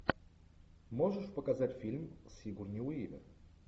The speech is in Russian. можешь показать фильм с сигурни уивер